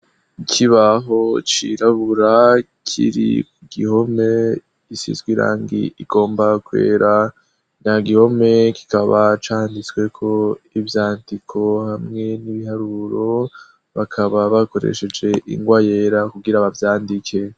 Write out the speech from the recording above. Ikibaho cirabura kiri gihome isizwe irangi igomba kwera nya gihome kikaba canditswe ko ivyandiko hamwe n'ibiharuro bakaba bakoresheje ingwa yera kugira bavyandike.